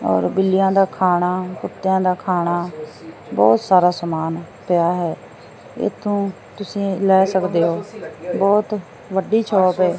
ਔਰ ਬਿੱਲਿਆਂ ਦਾ ਖਾਣਾ ਕੁੱਤਿਆਂ ਦਾ ਖਾਣਾ ਬਹੁਤ ਸਾਰਾ ਸਮਾਨ ਪਿਆ ਹੈ ਇਥੋਂ ਤੁਸੀਂ ਲੈ ਸਕਦੇ ਹੋ ਬਹੁਤ ਵੱਡੀ ਸ਼ੋਪ